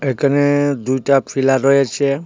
এইখানে দুইটা ফিলার রয়েছে.